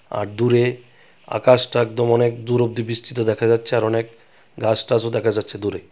আর দুরে আকাশটা একদম অনেক দূর অব্দি বিস্তৃত দেখা যাচ্ছে আর অনেক গাছটাছও দেখা যাচ্ছে দূরে.